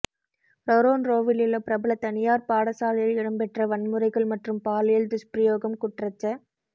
ரொறொன்ரோவிலுள்ள பிரபல தனியார் பாடசாலையில் இடம்பெற்ற வன்முறைகள் மற்றும் பாலியல் துஷ்பிரயோகம் குற்றச்ச